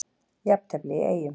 Jafntefli í Eyjum